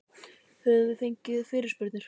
Höfum við fengið fyrirspurnir?